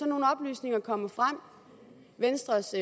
nogle oplysninger kommer frem venstres